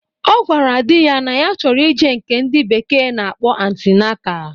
Ọ gwara di ya na ya chọrọ ije nke ndị bekee na-akpọ antinata